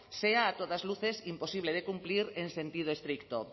sea a todas luces imposible de cumplir en sentido estricto